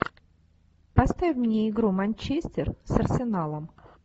поставь мне игру манчестер с арсеналом